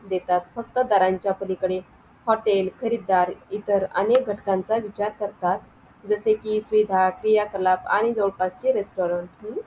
देतात फक्त दाराच्या पलीकडे हॉटेल खरीदार इतर अनेक घटकांचा विचार करतात जसे कि सुविधा क्रियाकलाब आणि जवळपास चे restaurant